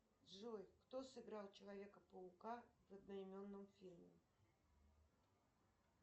джой кто сыграл человека паука в одноименном фильме